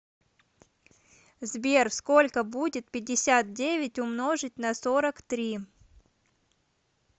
сбер сколько будет пятьдесят девять умножить на сорок три